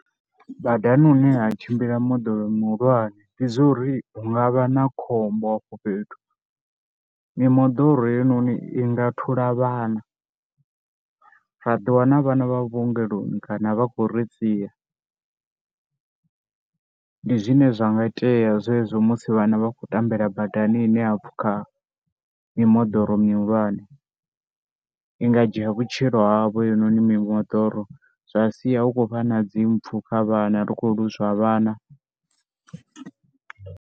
Badani hune ha tshimbila moḓoro muhulwane ndi zwo ri hu nga vha na khombo hafho fhethu, mimoḓoro heinoni i nga thula vhana ra ḓiwana vhana vha vhuongeloni kana vha khou ri siya. Ndi zwine zwa nga itea zwezwo musi vhana vha khou tambela badani ine ha pfhukha mimoḓoro mihulwane i nga dzhia vhutshilo havho heinoni mimoḓoro zwa sia hu khou vha na dzi mpfu kha vhana ri khou lwozwa vhana.